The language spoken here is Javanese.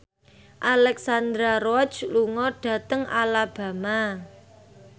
Alexandra Roach lunga dhateng Alabama